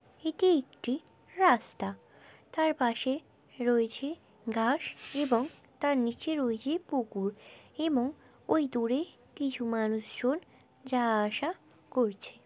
এটি একটি রাস্তা। তার পাশে রয়েছে ঘাস এবং তার নীচে রয়েছে পুকুর এবং ওই দূরে কিছু মানুষ জন যাওয়া আসা করছে।